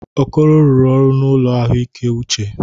Okoro rụrụ ọrụ n'ụlọ ahụike uche.